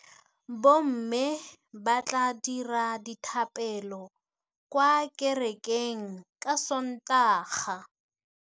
Bommê ba tla dira dithapêlô kwa kerekeng ka Sontaga.